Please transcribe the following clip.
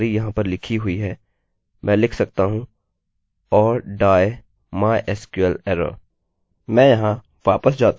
मैं यहाँ वापस जाता हूँ और लिखता हूँ david green और गेट डेटा पर क्लिक करता हूँ और हमारे पास कोई भी एररerrorनहीं है